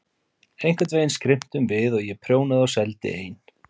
Einhvern veginn skrimtum við og ég prjónaði og seldi ein